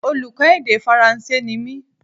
Oluko èdè faranse ni mí